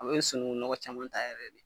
A be sunukun nɔgɔ caman ta yɛrɛ yɛrɛ de.